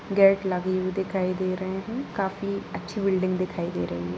Gate लगी हुई दिखाई दे रहे हैं काफी अच्छी बिल्डिंग दिखाई दे रही है।